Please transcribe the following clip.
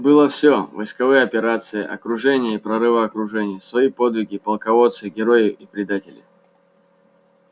было всё войсковые операции окружения и прорывы окружений свои подвиги полководцы герои и предатели